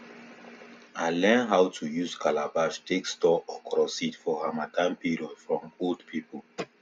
i learn how to use calabash take store okro seed for harmattan period from old pipo